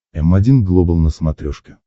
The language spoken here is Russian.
м один глобал на смотрешке